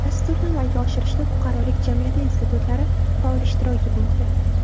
Dasturni amalga oshirishda fuqarolik jamiyati institutlari faol ishtirok etmoqda.